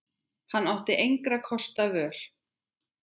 Hann átti engra kosta völ.